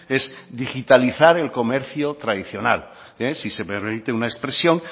es digitalizar el comercio tradicional si se me permite una expresión